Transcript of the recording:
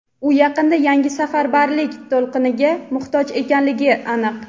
u yaqinda yangi safarbarlik to‘lqiniga muhtoj ekanligi aniq.